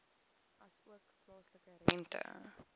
asook plaaslike rente